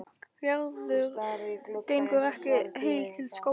Gerður gengur ekki heil til skógar.